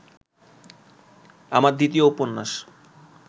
আমার দ্বিতীয় উপন্যাস